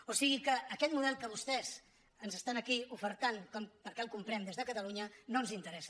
o sigui que aquest model que vostès ens estan aquí ofertant perquè el comprem des de catalunya no ens interessa